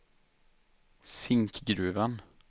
Zinkgruvan